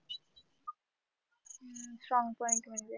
strong point म्हणजे